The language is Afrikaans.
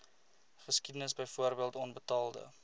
geskiedenis byvoorbeeld onbetaalde